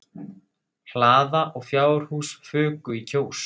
Hlaða og fjárhús fuku í Kjós.